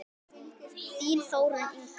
Þín Þórunn Inga.